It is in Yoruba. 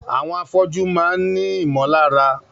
Àwọn afọ́jú máà ń ní ìmọ̀lára.